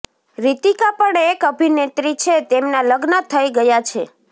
રિતિકા પણ એક અભિનેત્રી છે તેમના લગ્ન થઇ ગયા છે